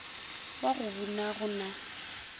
wa go buna go na